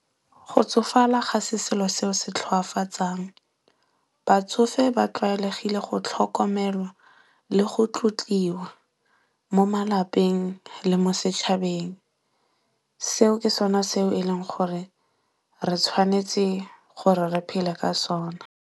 Go tsofala ga se selo seo se tlhoafatsang. Batsofe ba tlwaelegile go tlhokomelwa le go tlotliwa mo malapeng le mo setšhabeng. Seo ke sona seo e leng gore re tshwanetse gore re phele ka sona.